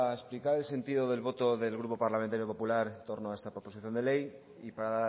explicar el sentido de voto del grupo parlamentario popular en torno a esta proposición de ley y para